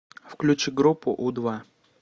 включи группу у два